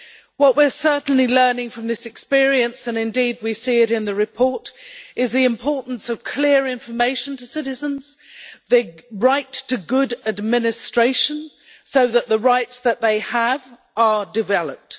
What we're certainly learning from this experience and indeed we see this in the report is the importance of clear information to citizens, the right to good administration, so that the rights that they have are developed.